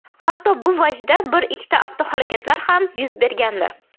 Hatto shu vajdan bir ikkita avtohalokatlar ham yuz bergandi.